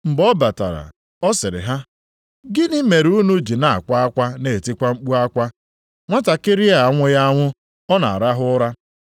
Mgbe ọ batara, ọ sịrị ha, “Gịnị mere unu ji na-akwa akwa na-etikwa mkpu akwa? Nwatakịrị a anwụghị anwụ, ọ na-arahụ ụra!”